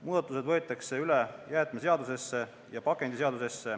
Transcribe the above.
Muudatused tehakse jäätmeseaduses ja pakendiseaduses.